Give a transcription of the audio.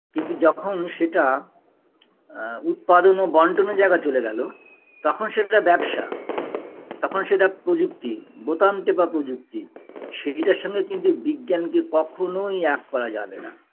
কিন্তু যখন সেটা আ উৎপাদন ও বন্টনের জায়গায় চলে গেলো তখন সেটা ব্যবসা তখন সেটা প্রযুক্তি বোতাম টেপা প্রযুক্তি সেইটার সঙ্গে কিন্তু বিজ্ঞানকে কখনোই এক করা যাবে না